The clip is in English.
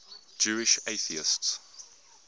jewish atheists